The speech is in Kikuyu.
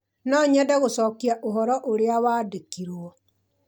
no nyende gũcokia ũhoro ũrĩa wandĩkĩirũo